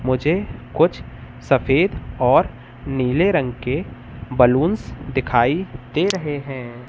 मुझे कुछ सफेद और नीले रंग के बलूंस दिखाई दे रहे हैं।